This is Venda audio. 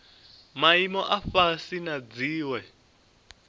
maimo a fhasi na dziwe